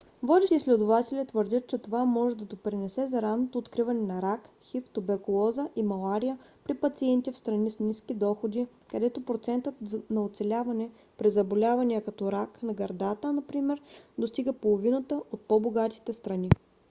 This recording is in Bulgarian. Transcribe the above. водещи изследователи твърдят че това може да допринесе за ранното откриване на рак хив туберкулоза и малария при пациенти в страни с ниски доходи където процентът на оцеляване при заболявания като рак на гърдата например достига половината от по-богатите страни